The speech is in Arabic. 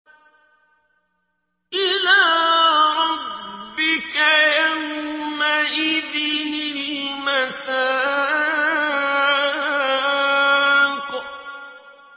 إِلَىٰ رَبِّكَ يَوْمَئِذٍ الْمَسَاقُ